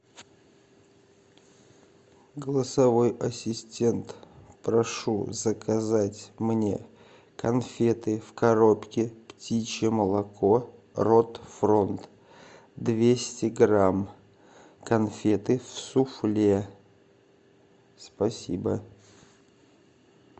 голосовой ассистент прошу заказать мне конфеты в коробке птичье молоко рот фронт двести грамм конфеты суфле спасибо